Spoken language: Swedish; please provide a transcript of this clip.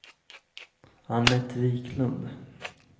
Annette Viklund